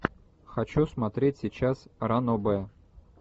хочу смотреть сейчас ранобэ